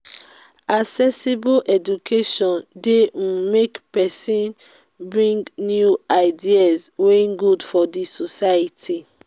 accessible education de um make um persin bring new ideas wey good for di society